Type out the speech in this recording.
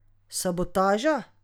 Sabotaža!